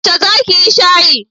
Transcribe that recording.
Yaushe za ki yi shayin?